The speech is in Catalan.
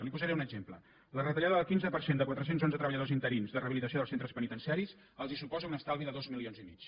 li’n posaré un exemple la retallada del quinze per cent de quatre cents i onze treballadors interins de rehabilitació dels centres penitenciaris els suposa un estalvi de dos milions i mig